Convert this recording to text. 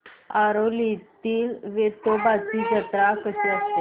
आरवलीतील वेतोबाची जत्रा कशी असते